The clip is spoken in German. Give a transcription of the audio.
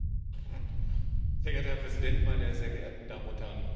Sehr geehrter Herr Präsident, meine sehr geehrten Damen und Herren Kollegen!